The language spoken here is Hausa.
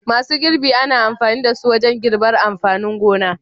Masu girbi ana amfani da su wajen girbar amfanin gona.